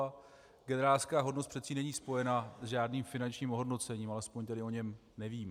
A generálská hodnost přece není spojena s žádným finančním ohodnocením, alespoň tedy o něm nevím.